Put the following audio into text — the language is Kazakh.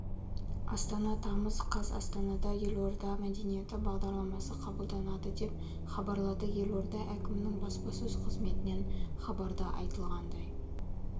астана тамыз қаз астанада елорда мәдениеті бағдарламасы қабылданады деп хабарлады елорда әкімінің баспасөз қызметінен хабарда айтылғандай